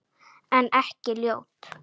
En ekki ljót.